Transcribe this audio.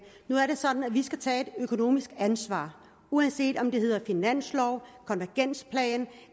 nu er det sådan at vi skal tage et økonomisk ansvar uanset om det hedder finanslov konvergensplan